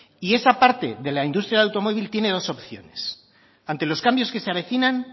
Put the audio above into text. y esa parte de la industria del automóvil tiene dos opciones ante los cambios que se avecinan